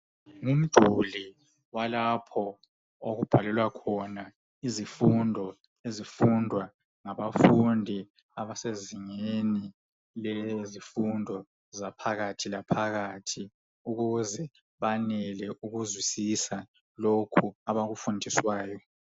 Ngumduli walapho okubhalelwa khona izifundo ezifundwa ngabafundi abasezingeni lezifundo zaphakathi laphakathi ukuze banele ukuzwisisa lokhu abakufundiswayo.